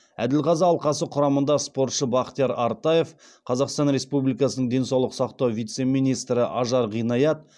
әділқазы алқасы құрамында спортшы бақтияр артаев қазақстан республикасының денсаулық сақтау вице министрі ажар ғинаят